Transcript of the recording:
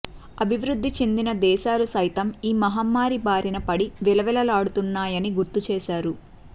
అభివృద్ది చెందిన దేశాలు సైతం ఈ మహమ్మారి బారిన పడి విలవిల లాడుతున్నాయని గుర్తు చేశారు